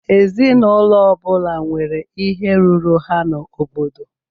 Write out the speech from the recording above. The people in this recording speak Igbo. Ezinụlọ ọbula nwèrè ihe rụrụ ha n'obodo.